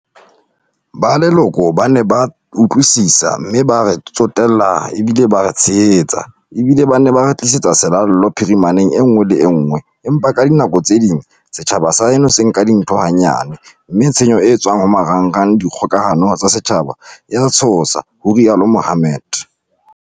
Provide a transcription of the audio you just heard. "Ba leloko ba ne ba utlwisisa, mme ba re tsotel-la ba bile ba re tshehetsa, ebile ba ne ba re tlisetsa selallo phirimaneng en-ngwe le enngwe, empa ka dinako tse ding setjhaba sa heno se ka nka dintho ha-nyane mme tshenyo e etswa-ng ho marangrang a dikgoka-hano tsa setjhaba e a tshosa," ho rialo Mohammed.